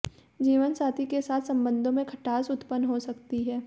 जीवनसाथी के साथ संबंधों में खटास उत्पन्न हो सकती है